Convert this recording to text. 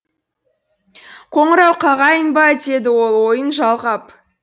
қоңырау қағайын ба деді ол ойын жалғап